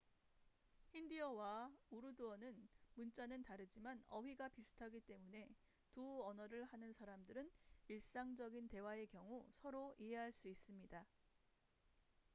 힌디어와 우르두어는 문자는 다르지만 어휘가 비슷하기 때문에 두 언어를 하는 사람들은 일상적인 대화의 경우 서로 이해할 수 있습니다